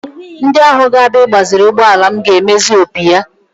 Ndị ahụ ga-abịa igbaziri ụgbọala m ga-emezi opi ya